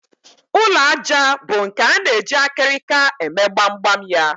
Ụlọ àjà bụ nke a na-eji akịrịka eme gbamgbam ya